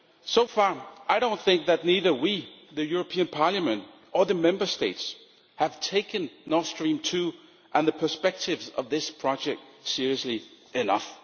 So far, I do not think that either we, the European Parliament, or the Member States have taken Nord Stream 2 and the perspectives of this project seriously enough.